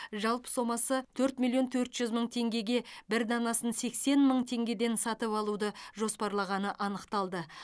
жалпы сомасы төрт миллион төрт жүз мың теңгеге бір данасын сексен мың теңгеден сатып алуды жоспарлағаны анықталды